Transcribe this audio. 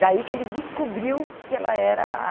Daí que ele descobriu que ela era